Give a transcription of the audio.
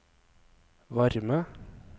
varme